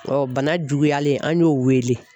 bana juguyalen an y'o wele.